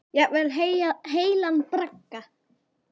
Jafnvel heilan bragga.